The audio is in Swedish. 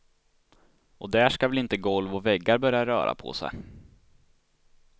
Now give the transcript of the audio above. Och där ska väl inte golv och väggar börja röra på sig.